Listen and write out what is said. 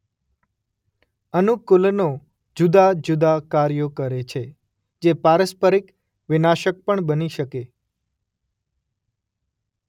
અનુકૂલનો જુદાં જુદાં કાર્યો કરે છે જે પારસ્પરિક વિનાશક પણ બની શકે.